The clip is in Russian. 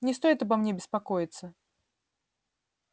не стоит обо мне беспокоиться